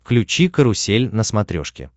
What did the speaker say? включи карусель на смотрешке